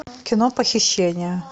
кино похищение